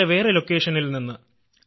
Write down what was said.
വേറെ വേറെ സ്ഥലങ്ങളിൽ നിന്ന്